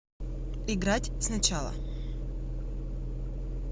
играть сначала